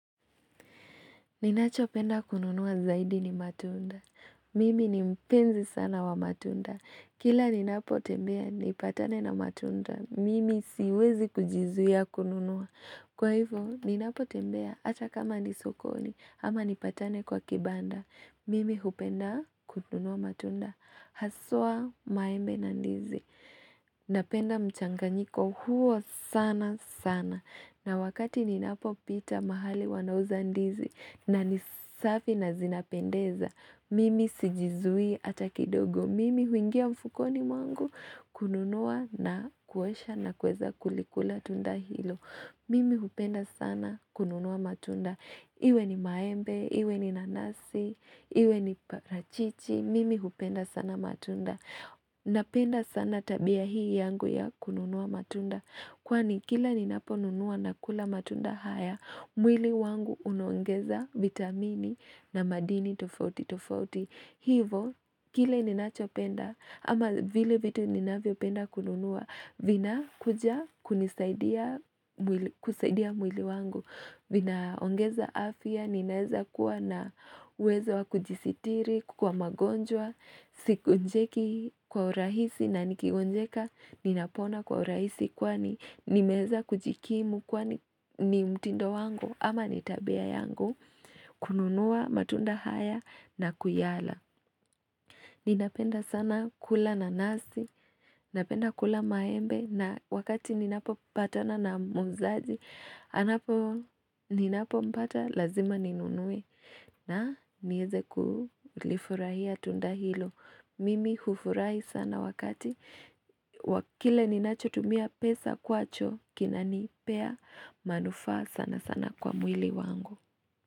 Ninachopenda kununua zaidi ni matunda. Mimi ni mpenzi sana wa matunda. Kila ninapo tembea, nipatane na matunda. Mimi siwezi kujizuia kununua. Kwa hivo, ninapo tembea, hata kama ni sokoni, ama nipatane kwa kibanda. Mimi hupenda kununua matunda. Haswa maembe na ndizi Napenda mchanganyiko huo sana sana na wakati ninapo pita mahali wanauza ndizi na nisafi na zinapendeza Mimi sijizui hata kidogo Mimi huingia mfukoni mwangu kununua na kuosha na kuweza kulikula tunda hilo Mimi hupenda sana kununua matunda Iwe ni maembe, iwe ni nanasi, iwe ni parachichi mimi hupenda sana matunda Napenda sana tabia hii yangu ya kununua matunda Kwani kila ninapo nunua na kula matunda haya mwili wangu unaongeza vitamini na madini tofauti tofauti Hivo, Kile ninachopenda ama vile vitu ninavyo penda kununua vina kuja kunisaidia, kusaidia mwili wangu vinaongeza afia, ninaeza kuwa na weza wakujisitiri kwa magonjwa, sigonjeki kwa urahisi na nikigonjeka Ninapona kwa rahisi kwani nimeweza kujikimu kwani ni mtindo wangu ama ni tabia yangu, kununua matunda haya na kuyala. Ninapenda sana kula nanasi, napenda kula maembe na wakati ninapo patana na muuzaji anapo, ninapo mpata lazima ninunue na nieze kulifurahia tunda hilo. Mimi hufurahi sana wakati. Kile ninacho tumia pesa kwacho kinanipea manufaa sana sana kwa mwili wangu.